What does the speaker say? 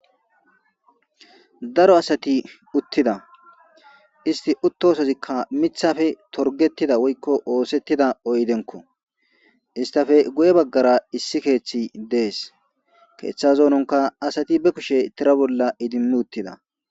daro asati uttida isti uttosozikka mithafe torgettida woykko oosettida oydenko istafe guye baggara issi keeththi dees keeththa zoononka asati be kushe tira bolla idimmi uttida